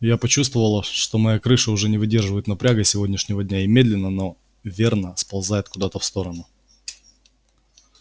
я почувствовала что моя крыша уже не выдерживает напряга сегодняшнего дня и медленно но верно сползает куда-то в сторону